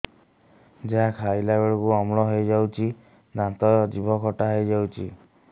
ଯାହା ଖାଇଲା ବେଳକୁ ଅମ୍ଳ ହେଇଯାଉଛି ଦାନ୍ତ ଜିଭ ଖଟା ହେଇଯାଉଛି